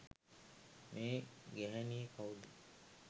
මේ ගැහැණිය කවුද?